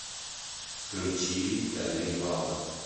включи талибал